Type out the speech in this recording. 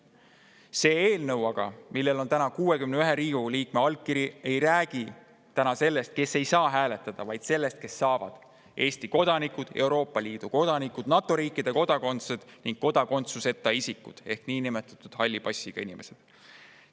Aga see eelnõu, millel on 61 Riigikogu liikme allkiri, ei räägi sellest, kes ei saa hääletada, vaid sellest, kes saavad: Eesti kodanikud, Euroopa Liidu kodanikud, NATO riikide kodakondsed ning kodakondsuseta isikud ehk niinimetatud halli passiga inimesed.